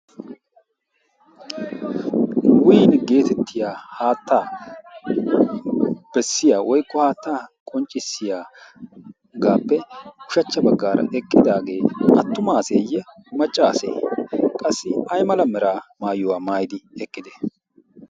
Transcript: win geetettiya haattaa bessiya woyqqo haattaa qonccissiyaaagaappe ushachcha baggaara eqqidaagee attumaaseeyye maccaasee qassi aymala mera maayuwaa maayidi eqqide